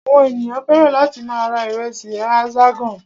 Àwọn ènìyàn fẹ́ràn láti máa ra ìrẹsì Hexagon.